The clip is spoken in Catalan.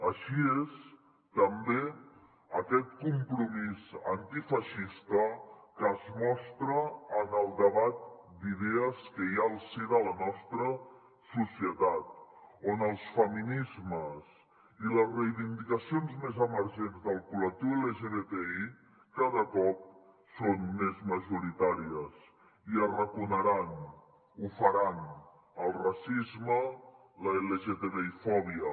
així és també aquest compromís antifeixista que es mostra en el debat d’idees que hi ha al si de la nostra societat on els feminismes i les reivindicacions més emergents del col·lectiu lgtbi cada cop són més majoritàries i arraconaran ho faran el racisme l’lgtbifòbia